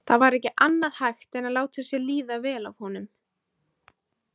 Það var ekki annað hægt en láta sér líða vel af honum.